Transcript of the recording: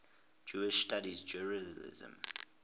jewish studies jerusalem